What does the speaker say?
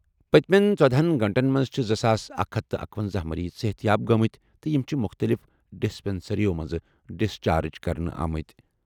پٔتِمٮ۪ن ژۄہنَ گٲنٛٹن منٛز چھِ زٕ ساس اکَھ ہَتھ تہٕ اکَۄنَزہ مریض صحتیاب گٔمٕتۍ تہٕ یِم چھِ مُختٔلِف ڈسپنسریو منٛزٕ ڈسچارج کرنہٕ آمٕتۍ ۔